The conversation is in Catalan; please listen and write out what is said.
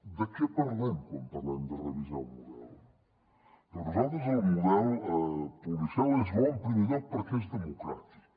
de què parlem quan parlem de revisar el model per nosaltres el model policial és bo en primer lloc perquè és democràtic